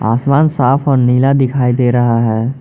आसमान साफ और नीला दिखाई दे रहा है।